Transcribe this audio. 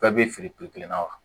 Bɛɛ bɛ fili piri kelen na wa